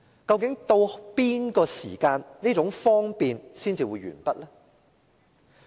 究竟署任到哪個時間，這種"方便"才會完畢？